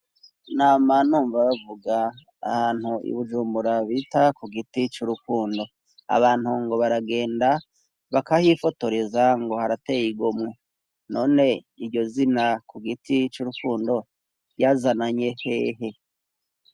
Nama numva bavuga ahantu ibujumbura bita ku giti c'urukundo abantu ngo baragenda bakahifotoreza ngo harateye igomwe none iryo zina ku giti c'urukundo ryazananye hehe.